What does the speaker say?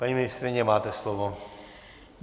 Paní ministryně, máte slovo.